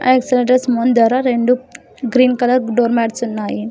రెండు green colour door mats ఉన్నాయి.